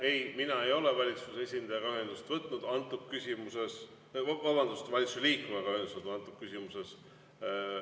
Ei, mina ei ole valitsuse esindajaga ühendust võtnud antud küsimuses, või vabandust, valitsuse liikmega ühendust võtnud antud küsimuses.